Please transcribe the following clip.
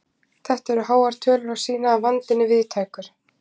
Þetta eru háar tölur og sýna að vandinn er víðtækur.